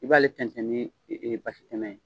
I b'aale fɛnsɛn ni basi tɛmɛ ye.